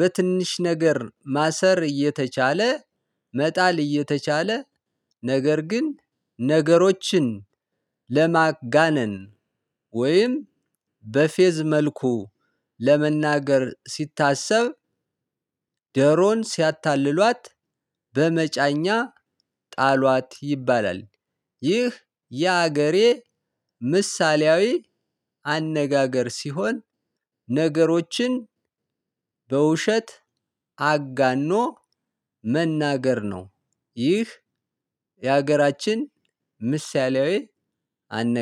በትንሽ ነገር ማሰር እየተቻለ መጣል እየተቻለ ነገር ግን ነገሮችን ለማጋነን ወይም በፌዝ መልኩ ለመናገር ሲታሰብ ዶሮን ሲያታልሏት በመጫኛ ጣሏት ይባላል። ይህ የሀገሬ ምሳሌያዊ አነጋገር ሲሆን ነገሮችን በውሸት አጋኖ መናገር ነው። ይህ የሀገራችን ምሳሌያዊ አነ